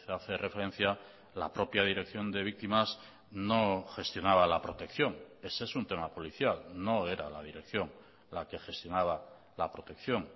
hace referencia la propia dirección de víctimas no gestionaba la protección ese es un tema policial no era la dirección la que gestionaba la protección